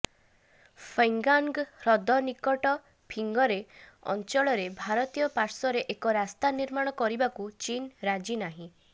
ପୈଂଗାଁନ୍ଗ ହ୍ରଦ ନିକଟ ଫିଙ୍ଗର ଅଞ୍ଚଳରେ ଭାରତୀୟ ପାର୍ଶ୍ୱରେ ଏକ ରାସ୍ତା ନିର୍ମାଣ କରିବାକୁ ଚୀନ୍ ରାଜି ନାହିଁ